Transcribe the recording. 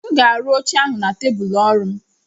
m ga-arụ oche ahụ na tebụl ọrụ m